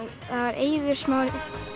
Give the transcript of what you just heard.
Eiður Smári